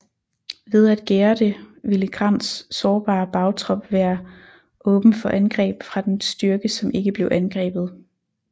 Ved at gære det ville Grants sårbare bagtrop være åben for angreb fra den styrke som ikke blev angrebet